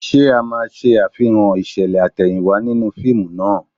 Ṣé ẹ máa ṣe àfihàn ìṣẹ̀lẹ̀ àtẹ̀yìnwá nínú fíìmù náà?